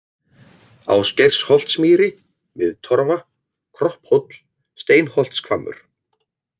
Ásgeirsholtsmýri, Miðtorfa, Kropphóll, Steinholtshvammur